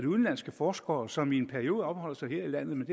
udenlandske forskere som i en periode opholder sig her i landet men